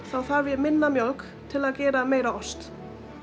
þá þarf ég minni mjólk til að gera meiri ost